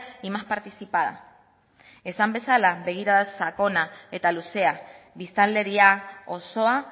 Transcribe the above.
y más participada esan bezala begirada sakona eta luzea biztanleria osoa